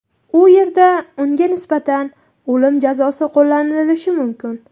U yerda unga nisbatan o‘lim jazosi qo‘llanilishi mumkin.